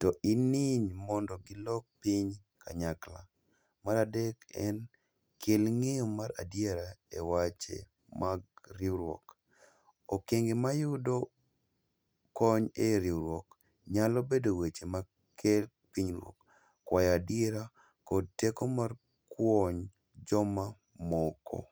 To in niiny mondo gilok piny kanyakla. Maradek en kel ng'eyo mar adiera e wache mag riwruok, okege mayudo kony e riwruok nyalo bedo weche ma ker pinyruok, kwayadiera kod teko mar kwony jok moko.